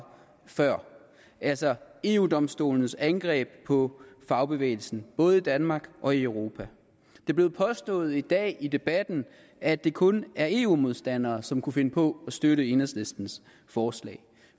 før altså eu domstolens angreb på fagbevægelsen både i danmark og i europa det blev påstået i dag i debatten at det kun er eu modstandere som kan finde på at støtte enhedslistens forslag